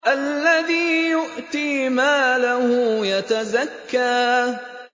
الَّذِي يُؤْتِي مَالَهُ يَتَزَكَّىٰ